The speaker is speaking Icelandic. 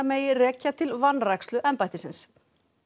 megi rekja til vanrækslu embættisins